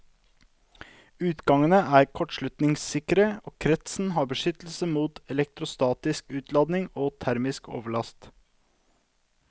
Utgangene er kortslutningssikre og kretsen har beskyttelse mot elektrostatisk utladning og termisk overlast.